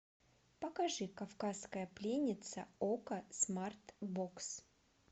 покажи кавказская пленница окко смарт бокс